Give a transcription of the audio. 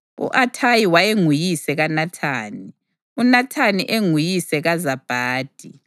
U-Athayi wayenguyise kaNathani, uNathani enguyise kaZabhadi,